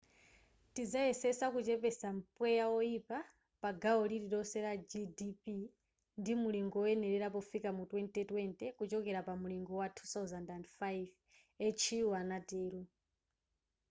tidzayesetsa kuchepetsa mpweya woyipa pa gawo lililonse la gdp ndi mulingo woyenera pofika mu 2020 kuchoka pa mulingo wa 2005 hu anatero